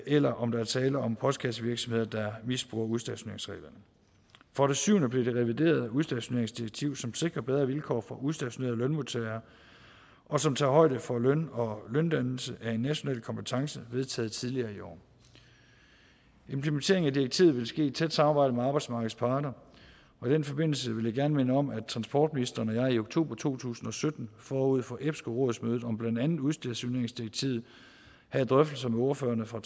eller om der er tale om postkassevirksomheder der misbruger udstationeringsreglerne for det syvende blev det reviderede udstationeringsdirektiv som sikrer bedre vilkår for udstationerede lønmodtagere og som tager højde for at løn og løndannelse er en national kompetence vedtaget tidligere i år implementeringen af direktivet vil ske i tæt samarbejde med arbejdsmarkedets parter og i den forbindelse vil jeg gerne minde om at transportministeren og jeg i oktober to tusind og sytten forud for epsco rådsmødet om blandt andet udstationeringsdirektivet havde drøftelser med ordførerne for